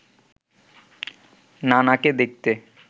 নানাকে দেখতে